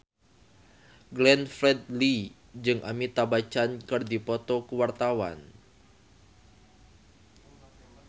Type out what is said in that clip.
Glenn Fredly jeung Amitabh Bachchan keur dipoto ku wartawan